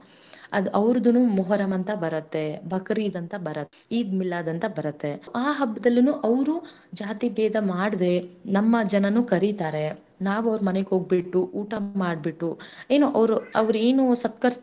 ಅದ ಅವರಧುನು مُحَرَّم ಅಂತ ಬರತ್ತೆ باكريد ಅಂತ ಬರತ್ತೆ عيد ميلاد ಅಂತ ಬರತ್ತೆ ಆ ಹಬ್ಬದಲ್ಲನೂ ಅವರು ಜಾತಿಭೇದ ಮಾಡದೇ ನಮ್ಮ ಜನನುಕರೀತಾರೆನಾವು ಅವ್ರ ಮನೆಗೆ ಹೋಗ್ಬಿಟ್ಟು ಊಟ ಮಾದ್ಬಿಟ್ಟು ಏನು ಅವರು ಅವ್ರ ಏನು ಸತ್ಕರಿಸಿರತಾರ.